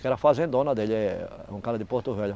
Que era fazendona dele, é um cara de Porto Velho.